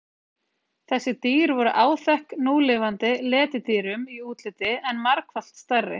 þessi dýr voru áþekk núlifandi letidýrum í útliti en margfalt stærri